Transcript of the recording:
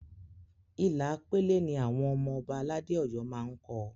Ilà pélé ni àwọn ọmọ Ọba aládé Ọ̀yọ́ máá ń kọ